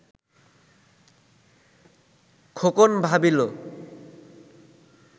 Khokon ভাবিল